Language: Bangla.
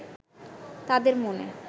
তাঁদের মনে